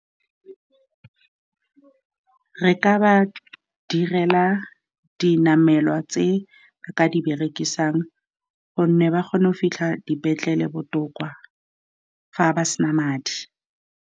Re ka ba direla dinamelwa tse ba ka di berekisang, gonne ba kgone go fitlha dipetlele botoka fa ba sena madi.